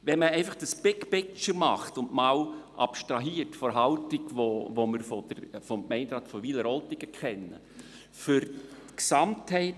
Wenn man einmal das «big picture» anschaut und von der Haltung, die wir vom Gemeinderat von Wileroltigen kennen, abstrahiert, zeigt sich: